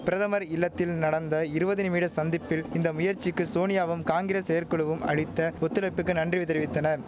பிரதமர் இல்லத்தில் நடந்த இருவது நிமிட சந்திப்பில் இந்த முயற்சிக்கு சோனியாவும் காங்கிரஸ் செயற்குழுவும் அளித்த ஒத்துழைப்புக்கு நன்றி தெரிவித்தனர்